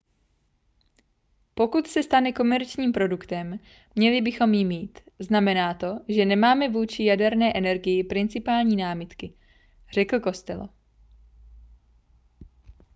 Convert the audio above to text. pokud se stane komerčním produktem měli bychom ji mít znamená to že nemáme vůči jaderné energii principiální námitky řekl costello